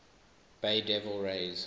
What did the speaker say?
bay devil rays